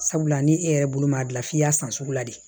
Sabula ni e yɛrɛ bolo m'a dilan f'i y'a san sugu la de